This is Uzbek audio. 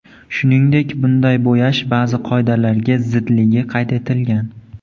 Shuningdek, bunday bo‘yash ba’zi qoidalarga zidligi qayd etilgan.